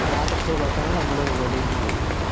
രാത്രിസു ള്ള ഭക്ഷണം നമ്മൾ വെളിയിൽ നിന്നുംമേടിക്കും.